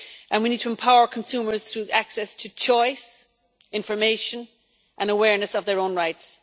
We need to empower consumers through access to choice, information and awareness of their own rights.